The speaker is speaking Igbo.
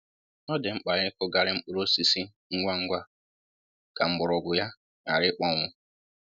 Ọ dị mkpa ịkụghari mkpụrụ osisi ngwa ngwa ka mgbọrọgwụ ya ghara ikpọnwụ